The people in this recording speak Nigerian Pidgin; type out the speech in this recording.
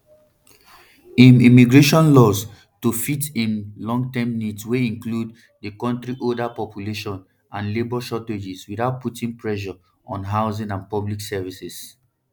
im immigration laws to fit im longterm needs wey include di kontri older population and labour shortages without putting pressure on housing and public services